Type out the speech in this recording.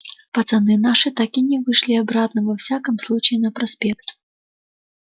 пацаны наши так и не вышли обратно во всяком случае на проспект